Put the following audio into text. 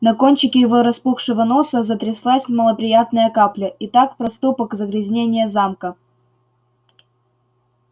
на кончике его распухшего носа затряслась малоприятная капля и так проступок загрязнение замка